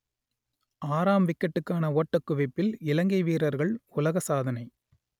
ஆறாம் விக்கெட்டுக்கான ஓட்டக் குவிப்பில் இலங்கை வீரர்கள் உலக சாதனை